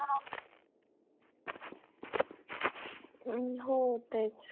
हो तेच